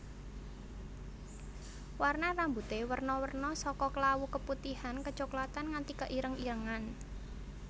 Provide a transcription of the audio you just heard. Warna rambuté werna werna saka klawu keputihan kecoklatan nganti keireng irengan